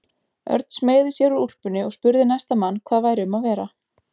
Örn smeygði sér úr úlpunni og spurði næsta mann hvað væri um að vera.